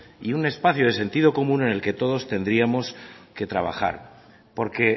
y un espacio de sentido común en el que todos tendríamos que trabajar porque